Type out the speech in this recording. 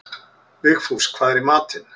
Vigfús, hvað er í matinn?